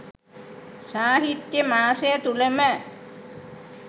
සාහිත්‍ය මාසය තුළම